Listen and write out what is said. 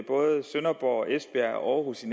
jeg også